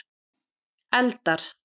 eldar